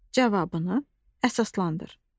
Cavabını əsaslandır.